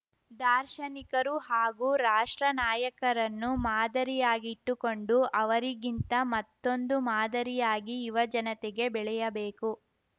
ದಾರ್ಶನಿಕರು ಹಾಗೂ ರಾಷ್ಟ್ರ ನಾಯಕರನ್ನು ಮಾದರಿಯಾಗಿಟ್ಟುಕೊಂಡು ಅವರಿಗಿಂತ ಮತ್ತೊಂದು ಮಾದರಿಯಾಗಿ ಯುವಜನತೆಗೆ ಬೆಳೆಯಬೇಕು